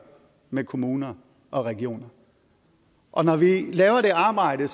med kommuner og regioner og når vi laver det arbejde